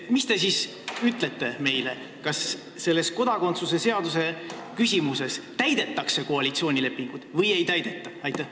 Mis te siis ütlete meile: kas kodakondsuse seaduse küsimuses täidetakse koalitsioonilepingut või ei täideta?